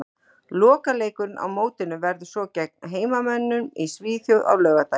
Lokaleikurinn á mótinu verður svo gegn heimamönnum í Svíþjóð á laugardaginn.